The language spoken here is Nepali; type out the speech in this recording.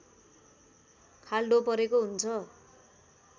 खाल्डो परेको हुन्छ